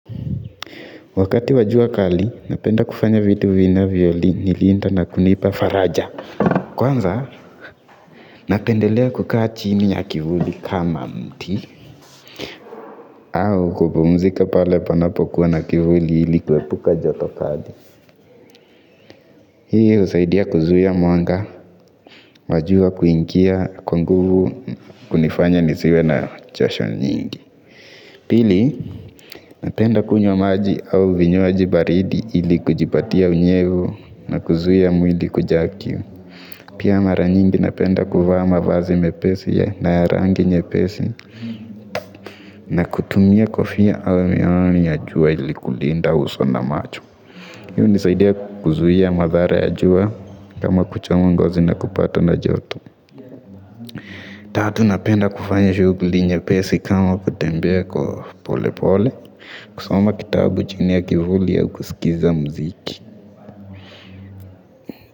Wakati wa jua kali, napenda kufanya vitu vinavyo li nilinda na kunipa faraja. Kwanza, napendelea kukaa chini ya kivuli kama mti. Au kupumzika pale panapo kuwa na kivuli ili kuepuka joto kali. Hii husaidia kuzuia mwanga, wa jua kuingia kwa nguvu kunifanya nisiwe na chasho nyingi. Pili, napenda kunywa maji au vinywaji baridi ili kujipatia unyevu na kuzuia mwili kujaa kiu. Pia mara nyingi napenda kuvaa mavazi mepesi ya na ya rangi nyepesi na kutumia kofia au miwani ya jua ili kulinda uso na macho. Hi hunisaidia kuzuia madhara ya jua kama kuchoma ngozi na kupata na joto. Tatu, napenda kufanya shughuli nyepesi kama kutembea kwa pole pole. Kusoma kitabu chini ya kivuli au kuskiza muziki.